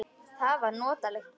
Það var notaleg kyrrð.